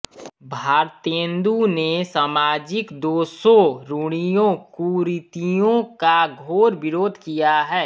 भारतेन्दु ने सामाजिक दोषों रूढ़ियों कुरीतियों का घोर विरोध किया है